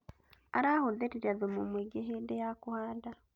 Arahũthĩrire thumu mũingĩ hĩndĩ ya kũhanda